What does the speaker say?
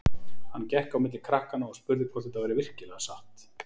Hann gekk á milli krakkanna og spurði hvort þetta væri virkilega satt.